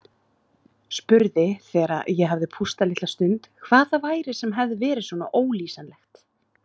Spurði þegar ég hafði pústað litla stund hvað það væri sem hefði verið svona ólýsanlegt.